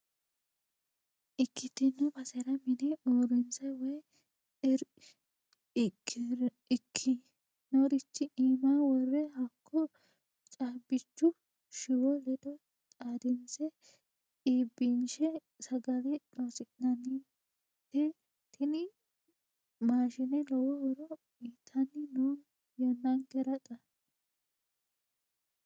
Ikkitino basera mine uurrinse woyi ikkinorichi iima wore hakko caabbichu shiwo ledo xaadinse iibbinshe sagale loosinannite tini maashine lowo horo uyittanni no yannankera xa.